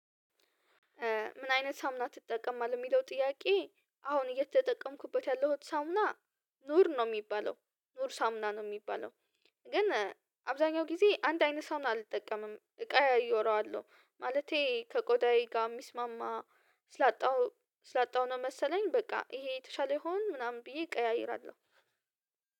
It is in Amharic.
ምን አይነት ሳሙና ትጠቀማለህ የሚለው ጥያቄ? አሁን እየተጠቀምኩበት ያለሁት ሳሙና ኑር ነው የሚባለው ኑር ሳሙና ነው የሚባለው። ግን አብዛኛው ጊዜ አንድ አይነት ሳሙና አልጠቀምም እቀያይረዋለው። ማለቴ ከቆዳዬ ጋር የሚስማማ ስላጣሁ ስላጣሁ ነው መሰለኝ በቃ ይሄ የተሻለ ይሆን ምናምን ብዬ እቀያይራለሁ።